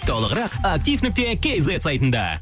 толығырақ актив нүкте кейзет сайтында